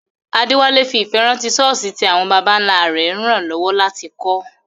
Adewale fi ìfẹ́ rántí ṣọ́ọ̀ṣì tí àwọn baba ńlá rẹ̀ ràn lọ́wọ́ láti kọ́.